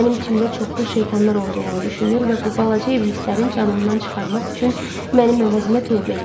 Mənim içimdə çoxlu şeytanlar olduğunu düşünür və bu balaca iblislərin canımdan çıxarmaq üçün mənim əvəzimə tövbə eləyir.